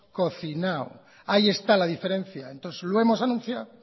cocinado ahí está la diferencia entonces lo hemos anunciado